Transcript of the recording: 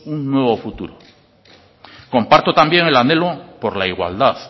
un nuevo futuro comparto también el anhelo por la igualdad